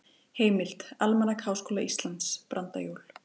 Heimild: Almanak Háskóla Íslands- Brandajól.